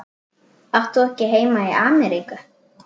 Átt þú ekki heima í Ameríku?